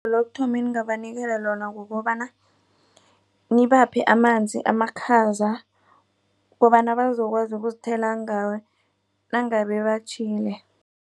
Lokuthoma eningabanikela lona kukobana nibaphe amanzi amakhaza kobana bazokwazi ukuzithela ngawo nangabe batjhile.